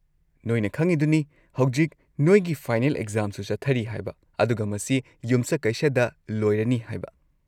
ꯅꯣꯢꯅ ꯈꯪꯉꯤꯗꯨꯅꯤ ꯍꯧꯖꯤꯛ ꯅꯣꯏꯒꯤ ꯐꯥꯏꯅꯦꯜ ꯑꯦꯛꯖꯥꯝꯁꯨ ꯆꯠꯊꯔꯤ ꯍꯥꯏꯕ ꯑꯗꯨꯒ ꯃꯁꯤ ꯌꯨꯝꯁꯀꯩꯁꯗ ꯂꯣꯏꯔꯅꯤ ꯍꯥꯏꯕ꯫